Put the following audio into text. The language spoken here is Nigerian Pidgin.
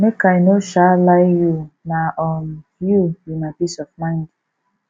make i no um lie you na um you be my peace of mind